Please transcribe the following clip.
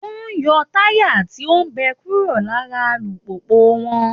Wọ́n ń yọ táyà tí ó bẹ kúró lara alùpùpù wọn